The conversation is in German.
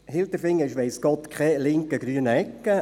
Hilterfingen ist weiss Gott keine linke, grüne Ecke.